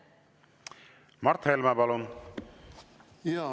Mart Helme, palun!